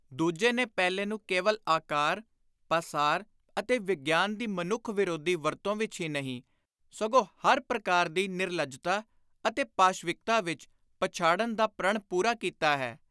ਦੁਜੇ ਨੇ ਪਹਿਲੇ ਨੂੰ ਕੇਵਲ ਆਕਾਰ, ਪਾਸਾਰ ਅਤੇ ਵਿਗਿਆਨ ਦੀ ਮਨੁੱਖ-ਵਿਰੋਧੀ ਵਰਤੋਂ ਵਿਚ ਹੀ ਨਹੀਂ, ਸਗੋਂ ਹਰ ਪ੍ਰਕਾਰ ਦੀ ਨਿਰਲੱਜਤਾ ਅਤੇ ਪਾਸ਼ਵਿਕਤਾ ਵਿਚ ਪਛਾੜਨ ਦਾ ਪ੍ਰਣ ਪੂਰਾ ਕੀਤਾ ਹੈ।